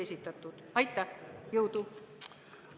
Aitäh ja jõudu!